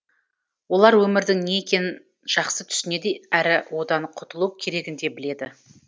олар өмірдің не екенін жақсы түсінеді әрі одан құтылу керегін де біледі